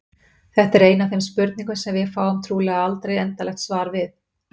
Þetta er ein af þeim spurningum sem við fáum trúlega aldrei endanlegt svar við.